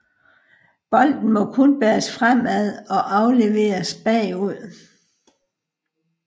Bolden må kun bæres fremad og afleveres bagud